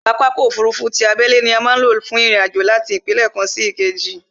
Pápákọ̀ ọ̀kọ òfurufú ti abẹ́lé ni a má ń lò fún ìrìn àjò láti ìpínlẹ̀ kan sí ìkejì